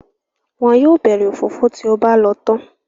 Wọn yóò bẹ̀rẹ̀ òfófó tí o bá lọ tán.